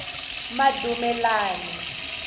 madumelani